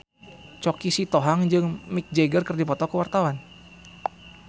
Choky Sitohang jeung Mick Jagger keur dipoto ku wartawan